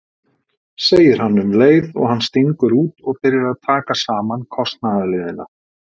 segir hann um leið og hann stingur út og byrjar að taka saman kostnaðarliðina.